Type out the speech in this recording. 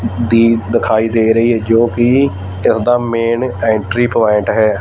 ਦੀ ਦਿਖਾਈ ਦੇ ਰਹੀ ਹੈ ਜੋ ਕਿ ਇਸ ਦਾ ਮੇਨ ਐਂਟਰੀ ਪੁਆਇੰਟ ਹੈ।